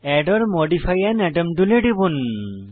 add or modify an atom টুলে টিপুন